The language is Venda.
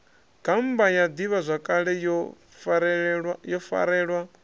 gammba ya ḓivhazwakale yo farelwaho